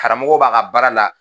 Karamɔgɔ b'a ka baara la